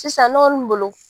Sisan ne kɔni bolo